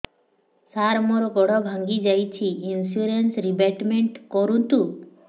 ସାର ମୋର ଗୋଡ ଭାଙ୍ଗି ଯାଇଛି ଇନ୍ସୁରେନ୍ସ ରିବେଟମେଣ୍ଟ କରୁନ୍ତୁ